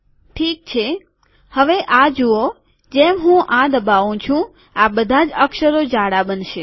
ઠીક છે હવે આ જુઓ જેમ હું આ દબાઉં છું આ બધાજ અક્ષરો જાડા બનશે